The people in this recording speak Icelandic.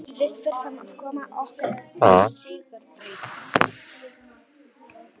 Við þurfum að koma okkur á sigurbraut.